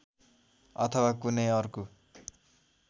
अथवा कुनै अर्को